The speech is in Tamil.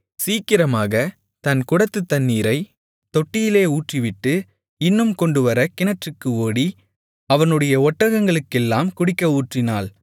சீக்கிரமாகத் தன் குடத்துத் தண்ணீரைத் தொட்டியிலே ஊற்றிவிட்டு இன்னும் கொண்டுவர கிணற்றுக்கு ஓடி அவனுடைய ஒட்டகங்களுக்கெல்லாம் குடிக்க ஊற்றினாள்